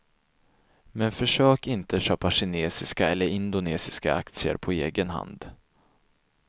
Men försök inte köpa kinesiska eller indonesiska aktier på egen hand.